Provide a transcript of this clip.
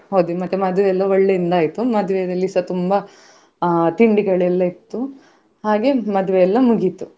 ಹೋದ್ವಿ ಮತ್ತೆ ಮದ್ವೆ ಎಲ್ಲ ಒಳ್ಳೆ ಆಯ್ತು ಮದ್ವೆಯಲ್ಲಿ ಸ ತುಂಬಾ ಅಹ್ ತಿಂಡಿಗಳೆಲ್ಲ ಇತ್ತು ಹಾಗೆ ಮದ್ವೆ ಎಲ್ಲ ಮುಗಿತು.